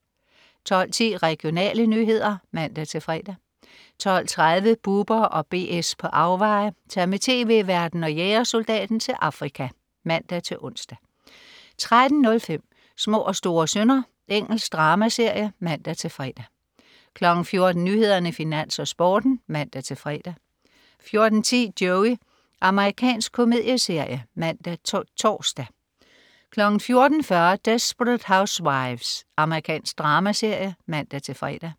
12.10 Regionale nyheder (man-fre) 12.30 Bubber & BS på afveje. Tag med tv-værten og jægersoldaten til Afrika (man-ons) 13.05 Små og store synder. Engelsk dramaserie (man-fre) 14.00 Nyhederne, Finans, Sporten (man-fre) 14.10 Joey. Amerikansk komedieserie (man-tors) 14.40 Desperate Housewives. Amerikansk dramaserie (man-fre)